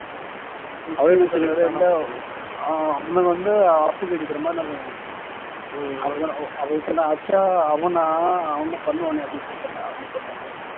அவர் என்ன சொல்றார் இல்ல அவனுங்க வந்து அப்பு கடிக்கிறவன் இன்னொருத்தருக்கானே அப்படி சொன்னா அப்படி சொன்னா அச்சா அவனா அவன் தான் பண்ணுவானே அப்படின்னு சொல்லிட்டாங்க அவங்க சொல்லிட்டாங்க